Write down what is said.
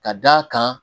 Ka d'a kan